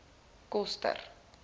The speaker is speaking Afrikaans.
koster